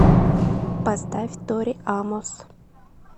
поставь тори амос